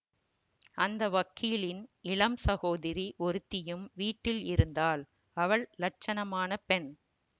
அந்த வக்கீலின் இளம் சகோதரி ஒருத்தியும் வீட்டில் இருந்தாள் அவள் லட்சணமான பெண்